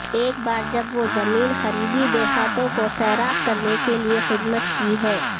ایک بار جب وہ زمین قریبی دیہاتوں کو سیراب کرنے کے لئے خدمت کی ہے